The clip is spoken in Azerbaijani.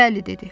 Bəli dedi.